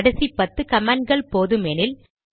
கடைசி பத்து கமாண்ட்கள் போதுமெனில்